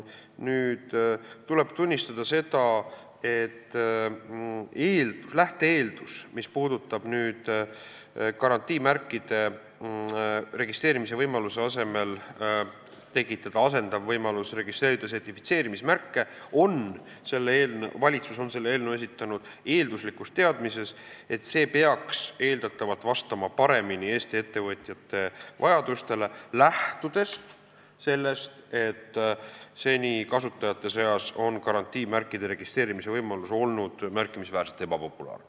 Nüüd tuleb tunnistada, et mis puudutab garantiimärkide registreerimise võimaluse asendamist võimalusega registreerida sertifitseerimismärke, siis valitsus on selle eelnõu esitanud eelduslikus teadmises, et see peaks eeldatavalt paremini vastama Eesti ettevõtjate vajadustele, lähtudes sellest, et seni on garantiimärkide registreerimise võimalus olnud kasutajate seas märkimisväärselt ebapopulaarne.